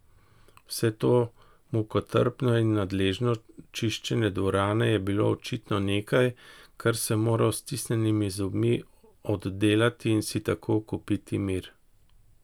Vse to mukotrpno in nadležno čiščenje dvorane je bilo očitno nekaj, kar sem moral s stisnjenimi zobmi oddelati in si tako kupiti mir.